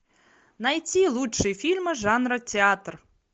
найти лучшие фильмы жанра театр